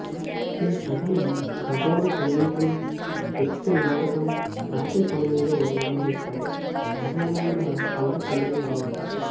ఈ పదం ఖగోళ సంగీతం నృత్య నాటకం రాత్రి సమయంలో నిర్వహిస్తారు సాధారణంగా పంట పండిన తర్వాత